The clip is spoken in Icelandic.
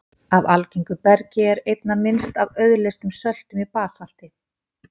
Af algengu bergi er einna minnst af auðleystum söltum í basalti.